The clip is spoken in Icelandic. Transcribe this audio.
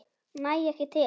Næ ekki til hans.